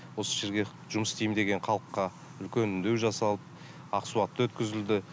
осы жерге жұмыс істеймін деген халыққа үлкен үндеу жасалып ақсуатта өткізілді